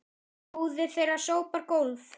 Móðir þeirra sópar gólf